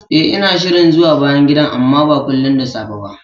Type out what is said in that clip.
Eh, ina shirin zuwa bayan gidan, amma ba kullin da safe ba